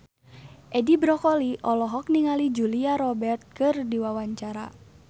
Edi Brokoli olohok ningali Julia Robert keur diwawancara